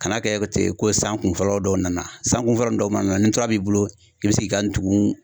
Kana kɛ ten ko san kunfɔlɔ dɔw nana, san kunfɔlɔ nin dɔw ma nana ni tura b'i bolo i bɛ se k'i ka ntugun